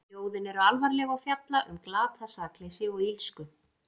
Ljóðin eru alvarleg og fjalla um glatað sakleysi og illsku.